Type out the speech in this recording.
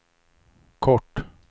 kort